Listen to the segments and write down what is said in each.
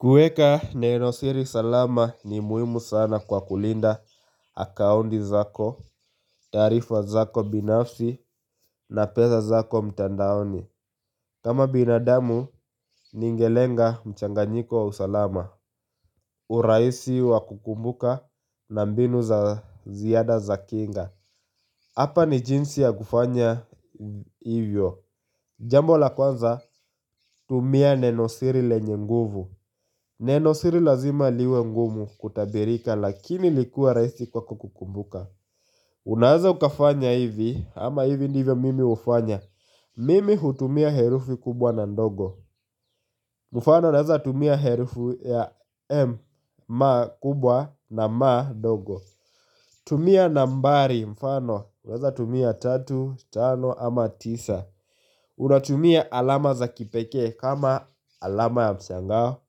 Kuweka nenosiri salama ni muhimu sana kwa kulinda akaunti zako, taarifa zako binafsi na pesa zako mtandaoni. Kama binadamu ningelenga mchanganyiko wa usalama. Urahisi wa kukumbuka na mbinu za ziada za kinga. Hapa ni jinsi ya kufanya hivyo. Jambo la kwanza, tumia nenosiri lenye nguvu. Neno siri lazima liwe ngumu kutabirika lakini likue rahisi kwako kukumbuka. Unaweza ukafanya hivi ama hivi ndivyo mimi hufanya. Mimi hutumia herufu kubwa na ndogo. Mfano naweza tumia herufu ya (M) ma kubwa na ma (m) ndogo. Tumia nambari mfano unaweza tumia tatu, tano ama tisa. Unatumia alama za kipekee kama alama ya mshangao,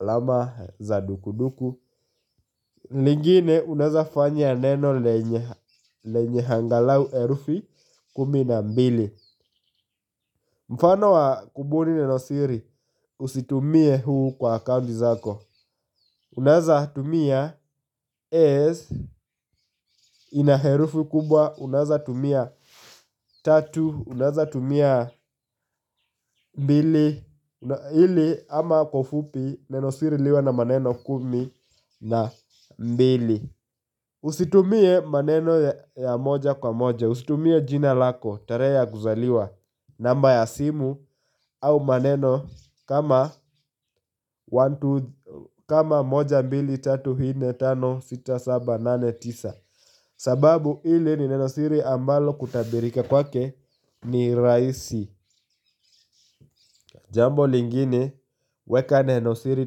alama za dukuduku. Lingine unaweza fanya neno lenye angalau herufi kumi na mbili. Mfano wa kubuni nenosiri usitumie huu kwa account zako. Unaweza tumia S ina herufi kubwa, unazatumia tatu, unazatumia mbili ili ama kwa ufupi nenosiri liwe na maneno kumi na mbili. Usitumie maneno ya moja kwa moja, usitumie jina lako, tarehe ya kuzaliwa. Namba ya simu au maneno kama kama moja, mbili, tatu, nne, tano, sita, saba, nane, tisa. Sababu hili ni nenosiri ambalo kutabirika kwake ni rahisi. Jambo lingine, weka neno siri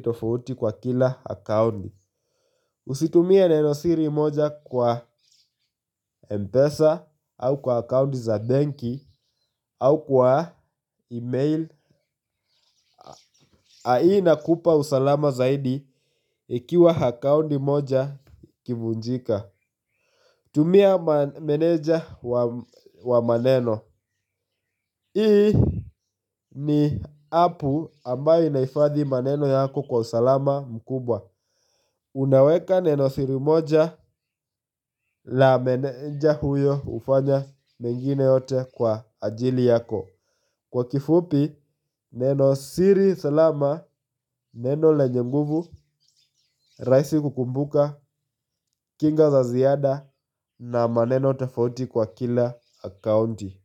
tofauti kwa kila akaunti. Usitumie neno siri moja kwa Mpesa au kwa akaunti za benki au kwa email. Hii inakupa usalama zaidi ikiwa akaunti moja ikivunjika. Tumia meneja wa maneno hii ni appu ambayo inahifadhi maneno yako kwa usalama mkubwa. Unaweka neno siri moja la meneja huyo hufanya mengine yote kwa ajili yako. Kwa kifupi, neno siri salama, neno lenye nguvu, rahisi kukumbuka, kinga za ziada na maneno tofauti kwa kila akaunti.